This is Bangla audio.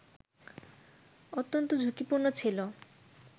অত্যন্ত ঝুঁকিপূর্ণ ছিল